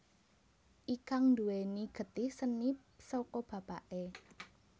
Ikang nduwèni getih seni saka bapaké